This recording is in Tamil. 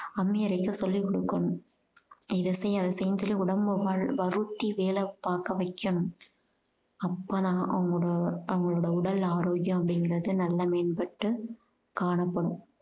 அம்மி அரைக்க சொல்லி குடுக்கணும் இத செய் அத செய்யினு சொல்லி உடம்ப வரு~ வருத்தி வேலை பார்க்க வைக்கணும் அப்பதான் அவங்க~ அவங்களோட உடல் ஆரோக்கியம் அப்படிங்குறது நல்ல மேம்பட்டு காணப்படும்